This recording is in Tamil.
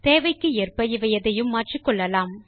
தேவைக்கு ஏற்ப இவை எதையும் மாற்றிக்கொள்ளலாம்